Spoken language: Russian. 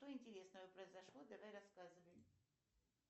что интересного произошло давай рассказывай